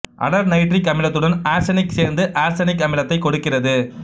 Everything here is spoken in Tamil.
அடர் நைட்ரிக் அமிலத்துடன் ஆர்சனிக்கு சேர்ந்து ஆர்சனிக் அமிலத்தைக் கொடுக்கிறது